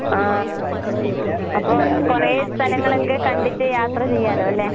ആഹ് അപ്പോ കൊറേ സ്ഥലങ്ങളൊക്കെ കണ്ടിട്ട് യാത്ര ചെയ്യാല്ലോല്ലേ?